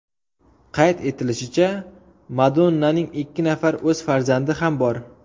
Qayd etilishicha, Madonnaning ikki nafar o‘z farzandi ham bor.